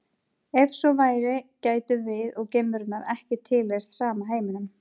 Ef svo væri gætum við og geimverunnar ekki tilheyrt sama heiminum.